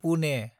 Pune